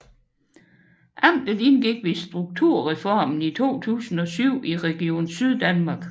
Amtet indgik ved strukturreformen 2007 i Region Syddanmark